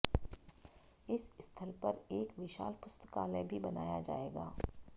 इस स्थल पर एक विशाल पुस्तकालय भी बनाया जाएगा